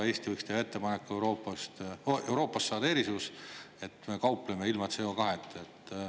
Eesti võiks teha ettepaneku Euroopast saada erisus, et me kaupleme ilma CO2-ta.